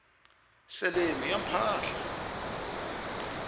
seleni ya mpahla